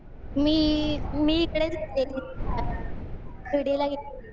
मी इकडेच गेलते. शिर्डीला गेलते मी.